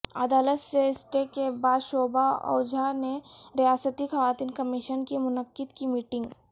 عدالت سے اسٹے کے بعد شوبھا اوجھا نے ریاستی خواتین کمیشن کی منعقد کی میٹنگ